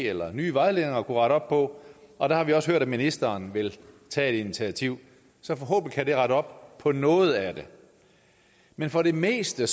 eller nye vejledninger måske kunne rette op på og der har vi også hørt at ministeren vil tage et initiativ så forhåbentlig kan det rette op på noget af det men for det meste